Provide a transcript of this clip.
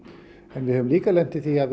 en við höfum líka lent í því að